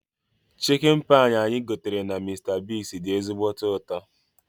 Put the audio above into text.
Chikin pai anyị gotere na Mista Bigz dị ezigbo ụtọ